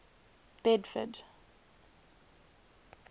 bedford